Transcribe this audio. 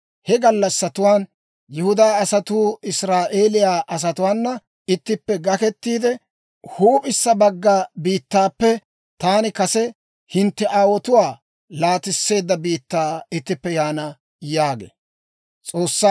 He gallassatuwaan Yihudaa asatuu Israa'eeliyaa asatuwaana ittippe gakketiide, huup'issa bagga biittaappe taani kase hintte aawotuwaa laatisseedda biittaa ittippe yaana» yaagee.